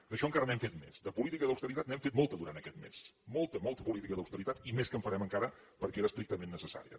d’això encara n’hem fet més de política d’austeritat n’hem fet molta durant aquest mes molta molta política d’austeritat i més que en farem encara perquè era estrictament necessària